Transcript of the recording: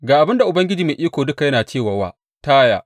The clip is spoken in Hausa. Ga abin da Ubangiji Mai Iko Duka yana cewa wa Taya.